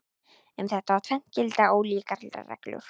Um þetta tvennt gilda ólíkar reglur.